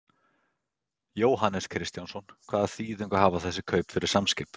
Jóhannes Kristjánsson: Hvaða þýðingu hafa þessi kaup fyrir Samskip?